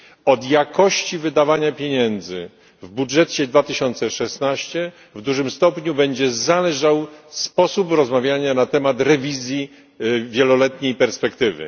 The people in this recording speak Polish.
Od jakości wydawania pieniędzy w budżecie na rok 2016 w dużym stopniu będzie zależał sposób, w jaki potoczą się rozmowy na temat rewizji wieloletniej perspektywy.